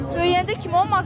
Böyüyəndə kim olmaq istəyirsən?